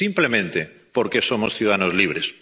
Simplemente porque somos ciudadanos libres.